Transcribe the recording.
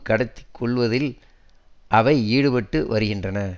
கடத்திக் கொல்லுவதில் அவை ஈடுபட்டு வருகின்றன